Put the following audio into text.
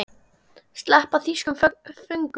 Sleppa þýskum föngum?